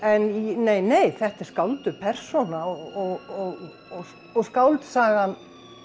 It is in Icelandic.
nei nei þetta er skálduð persóna og og skáldsagan